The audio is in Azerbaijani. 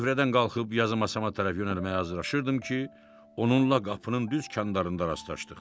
Süfrədən qalxıb yazı masama tərəf yönəlməyə hazırlaşırdım ki, onunla qapının düz kəndarlarında rastlaşdıq.